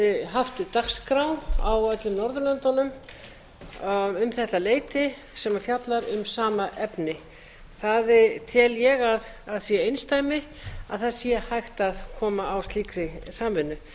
haft dagskrá á öllum norðurlöndunum um þetta leyti sem fjallar um sama efni það tel ég að sé einsdæmi að það sé hægt að koma á slíkri samvinnu